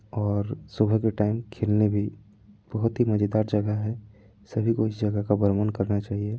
और सुबह के टाइम खेलने भी बहुत ही मजेदार जगह है सभी को इस जगह का भ्रमण करना चाहिए।